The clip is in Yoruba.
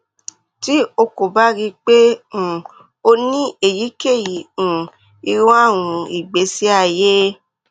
ti o ko ba rii pe um o ni eyikeyi um iru arun igbesi aye